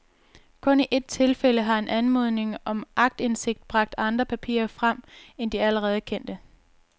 Kun i et tilfælde har en anmodning om aktindsigt bragt andre papirer frem end de allerede kendte.